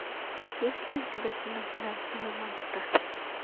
есть ли у тебя кино финансовый монстр